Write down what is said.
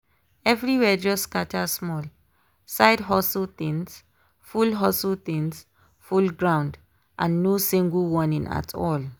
everywhere just scatter small—side hustle things full hustle things full ground and no single warning at all.